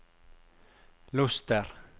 Luster